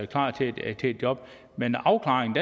klar til et job men afklaringen